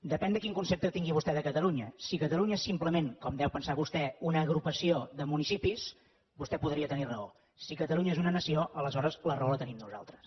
depèn de quin concepte tingui vostè de catalunya si catalunya és simplement com ho deu pensar vostè una agrupació de municipis vostè podria tenir raó si catalunya és una nació aleshores la raó la tenim nosaltres